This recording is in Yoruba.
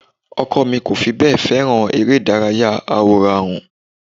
Ọkọ mi ò fi bẹ́ẹ̀ fèràn eré ìdárayá àwòránhùn